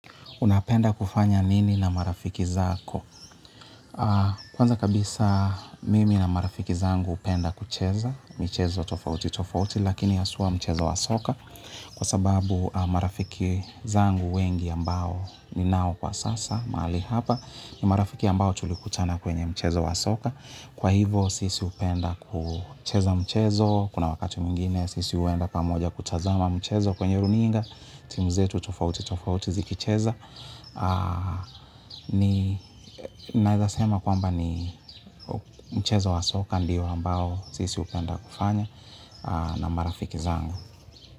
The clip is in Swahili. Unapenda kufanya nini na marafiki zako? Kwanza kabisa mmi na marafiki zangu hupenda kucheza michezo tofauti tofauti lkn haswa mchezo wa soka kwa sababu marafiki zangu wengi ambao ninao kwa sasa mahali hapa ni marafiki ambao nilikutana nao kwenye mchezo wa soka. Kwa hivo, sisi upenda kucheza mchezo, kuna wakati mwengine, sisi huenda pamoja kutazama mchezo, kwenye runinga, timu zetu tofauti tofauti ziki cheza, ninaezasema kwamba ni mchezo wa soka ndiyo ambao sisi hupenda kufanya na marafiki zanga.